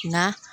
Nka